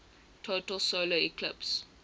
total solar eclipse